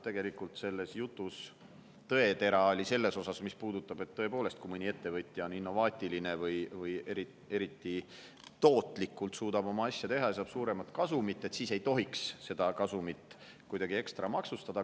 Tegelikult oli selles jutus tõetera sees selles mõttes, et tõepoolest, kui mõni ettevõtja on innovaatiline või suudab eriti tootlikult oma asja teha ja saab suuremat kasumit, siis ei tohiks seda kasumit kuidagi ekstra maksustada.